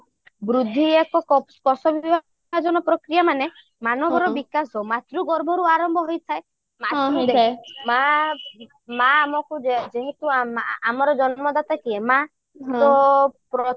ବୃଦ୍ଧି ଏକ କୋଷ ବିଭାଜନ ପ୍ରକ୍ରିୟା ମାନେ ମାନବର ବିକାଶ ମାତୃ ଗର୍ଭରୁ ଆରମ୍ଭ ହୋଇଥାଏ ମା ଆମକୁ ଯେହେତୁ ଆମର ଜନ୍ମଦାତା କିଏ ମା ତ